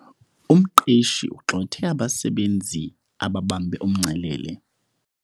Umqeshi ugxothe abasebenzi ababambe umngcelele.